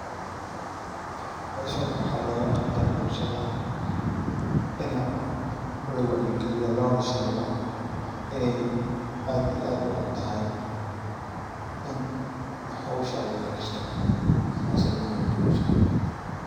Meshan waxaa looga qabta bulshada ina lawacyi galiyo loona sheego inay aad iyo aad u xuntahay in hawsha layaresto sas ayay muhiim ogu tahay bulshada.